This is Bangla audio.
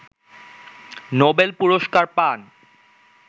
নোবেল পুরস্কার পান